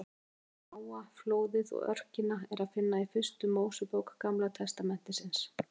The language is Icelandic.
Söguna um Nóa, flóðið og örkina er að finna í fyrstu Mósebók Gamla testamentisins.